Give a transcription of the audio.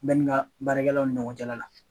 N bɛ n ka baarakɛlaw ni ɲɔgɔncɛla la.